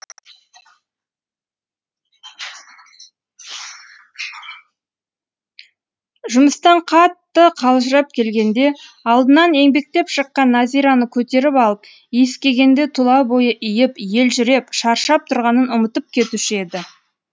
жұмыстан қатты қалжырап келгенде алдынан еңбектеп шыққан назираны көтеріп алып иіскегенде тұла бойы иіп елжіреп шаршап тұрғанын ұмытып кетуші еді